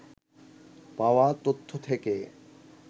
পাওয়া তথ্য থেকে